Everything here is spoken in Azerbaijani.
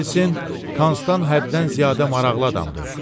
Ola bilsin, Konstan həddən ziyadə maraqlı adamdır.